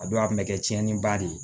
A don a kun bɛ kɛ tiɲɛniba de ye